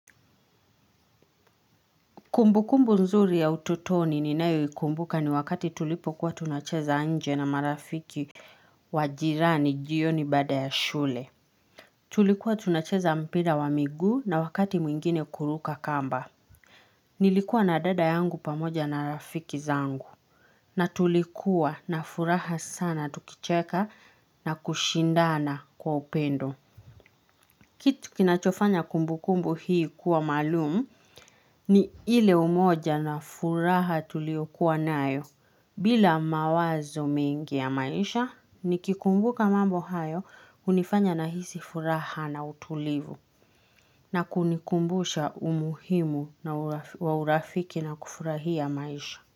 Kumbukumbu nzuri ya ututoni ni nayo ikumbuka ni wakati tulipo kuwa tunacheza nje na marafiki wa jirani jioni baada ya shule. Tulikuwa tunacheza mpira wa miguu na wakati mwingine kuruka kamba. Nilikuwa na dada yangu pamoja na rafiki zangu. Na tulikuwa na furaha sana tukicheka na kushindana kwa upendo. Kitu kinachofanya kumbukumbu hii kuwa maalumu ni ile umoja na furaha tulio kuwa nayo. Bila mawazo mengi ya maisha, nikikumbuka mambo hayo hunifanya nahisi furaha na utulivu na kunikumbusha umuhimu wa urafiki na kufurahia maisha.